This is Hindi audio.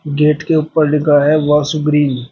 गेट के ऊपर लिखा है वाशु ग्रीन ।